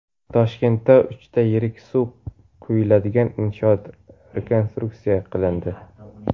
Toshkentda uchta yirik suv quyiladigan inshoot rekonstruksiya qilindi.